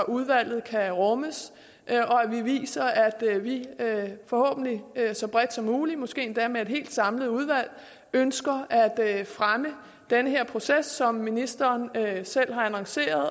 udvalget kan rummes og at vi viser at vi forhåbentlig så bredt som muligt måske endda med et helt samlet udvalg ønsker at fremme den her proces som ministeren selv har annonceret